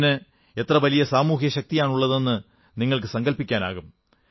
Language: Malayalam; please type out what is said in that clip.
ഇതിന് എത്ര വലിയ സാമൂഹിക ശക്തിയാണുള്ളതെന്ന് നിങ്ങൾക്ക് സങ്കല്പിക്കാനാകും